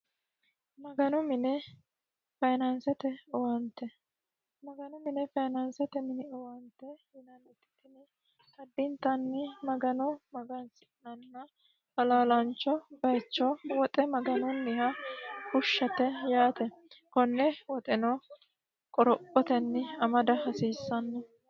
maganu mine fayinaansete owaante maganu mine fayiinansete mine owaante addintanni magano magansi'nanni halaalaancho bayicho woxe maganunniha fushshate yaate konne woxeno qorophotenni amada hasiissanni